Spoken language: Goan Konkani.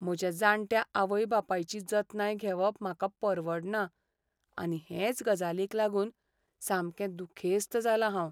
म्हज्या जाणट्या आवय बापायची जतनाय घेवप म्हाका परवडना आनी हेच गजालीक लागून सामकें दुखेस्त जालां हांव.